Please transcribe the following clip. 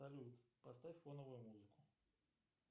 салют поставь фоновую музыку